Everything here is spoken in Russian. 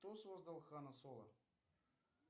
кто создал хана соло